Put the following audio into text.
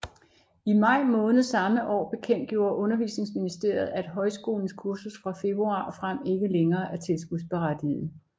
I maj måned samme år bekendtgjorde Undervisningsministeriet at højskolens kursus fra februar og frem ikke længere er tilskudsberettiget